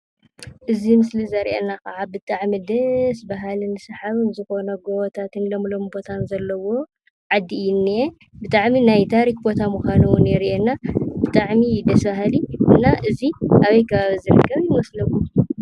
እዚ ምስሊ ዘርእየና ከዓ ብጣዕሚ ደስ በሃልን ሰሓቢን ዝኾኑ ጎቦታትን ልምሉም ቦታን ዘለዎ ዓዲ እዩ እንኤ። ብጣዕሚ ናይ ታሪኽ ቦታ ምዃኑ እዉን የርእየና። ብጣዕሚ እዩ ደስ ብሃሊ። እና እዚ ኣበይ ከባቢ ዝርከብ ይመስለኩም?